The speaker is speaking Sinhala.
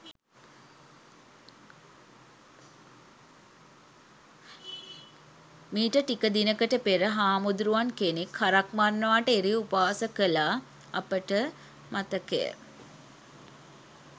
මීට ටික දිනකට පෙර හාමුදුරුවන් කෙනෙක් හරක් මරනවාට එරෙහිව උපවාස කළා අපට මතකය.